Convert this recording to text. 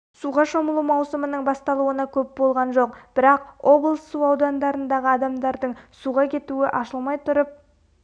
суға шомылу маусымының басталуына көп болған жоқ бірақ облыс су айдындарындағы адамдардың суға кетуі ашылмай тұрып